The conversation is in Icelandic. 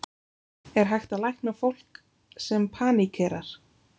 Er hægt að lækna fólk sem paníkerar?